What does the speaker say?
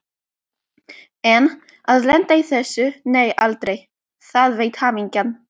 En að lenda í þessu, nei aldrei, það veit hamingjan.